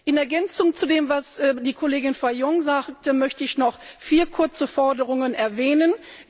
In Ergänzung zu dem, was die Kollegin Fajon sagte, möchte ich noch vier kurze Forderungen erwähnen.